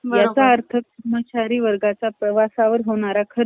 भारत छोडो यांच्यातच चालूये! राहुल गांधींचं.